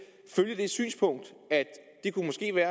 følge det synspunkt